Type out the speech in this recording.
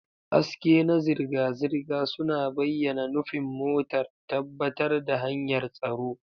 Haske na zirga-zirga suna bayyana nufin motar, tabbatar da hanyar tsaro.